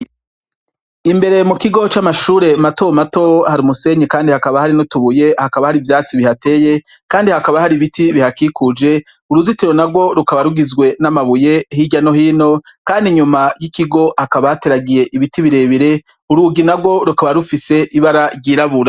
Imbere mu kigo c'amashure mato mato, hari umusenyi kandi hakaba hari n'utubuye, hakaba hari ivyatsi bihateye, kandi hakaba hari ibiti bihakikuje, uruzitiro narwo rukaba rugizwe n'amabuye hirya no hino, kandi inyuma y'ikigo hakaba hateragiye ibiti birebire, urugi narwo rukaba rufise ibara ryirabura.